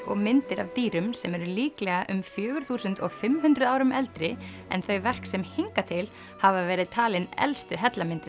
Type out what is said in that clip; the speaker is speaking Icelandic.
og myndir af dýrum sem eru líklega um fjögur þúsund og fimm hundruð árum eldri en þau verk sem hingað til hafa verið talin elstu